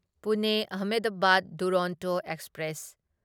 Pune Ahmedabad Duronto express